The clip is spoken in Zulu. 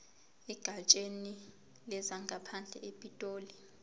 egatsheni lezangaphandle epitoli